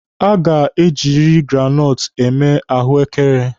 A ga-ejiriri granọtụ eme ahụekere.